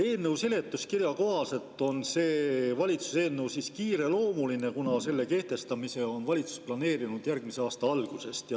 Eelnõu seletuskirja kohaselt on see valitsuse eelnõu kiireloomuline, kuna selle kehtestamise on valitsus planeerinud järgmise aasta algusest.